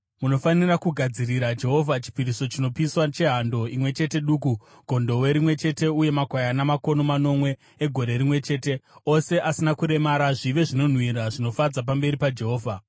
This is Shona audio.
Munofanira kugadzirira Jehovha chipiriso chinopiswa chehando imwe chete duku, gondobwe rimwe chete uye makwayana makono manomwe egore rimwe chete, ose asina kuremara, zvive zvinonhuhwira zvinofadza pamberi paJehovha.